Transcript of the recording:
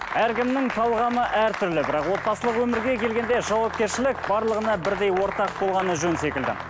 әркімнің талғамы әртүрлі бірақ отбасылық өмірге келгенде жауапкершілік барлығына бірдей ортақ болғаны жөн секілді